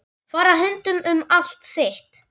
Fara höndum um allt þitt.